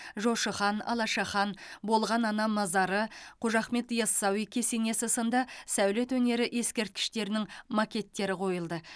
жошы хан алаша хан болған ана мазары қожа ахмет ясауи кесенесі сынды сәулет өнері ескерткіштерінің макеттері қойылды